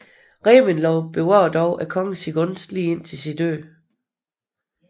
Reventlow bevarede dog kongens gunst lige til sin død